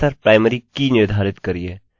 और इसे अक्सर प्राइमरी की निर्धारित करिये